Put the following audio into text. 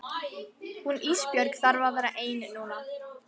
Hún Ísbjörg þarf að vera ein núna.